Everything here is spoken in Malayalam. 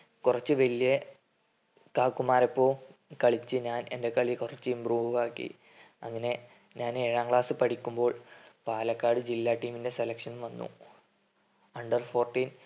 കൊറച് വെല്യേ കാകുമാരൊപ്പോം കളിച്ച് ഞാൻ എൻ്റെ കളി കൊറച്ചു improve ആക്കി. അങ്ങനെ ഞാൻ ഏഴാം ക്ലാസ്സിൽ പഠിക്കുമ്പോൾ പാലക്കാട് ജില്ലാ team ന്റ്റെ selection വന്നു. under fourteen